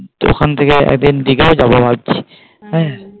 ওখান থেকে একদিন দিঘা ও যাবো ভাবছি হ্যাঁ?